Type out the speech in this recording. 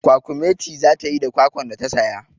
Kwakumeti za ta yi da kwakwan da ta saya.